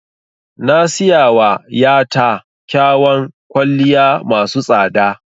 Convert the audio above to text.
Na siyawa ya ta kyawan kwalliya masu tsada